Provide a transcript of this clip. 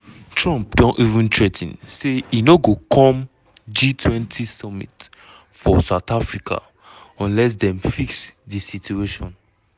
trump don even threa ten say e no go come g20 summit for south africa unless dem "fix di situation".